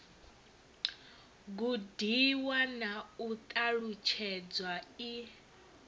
gudiwa na u ṱalutshedzwa i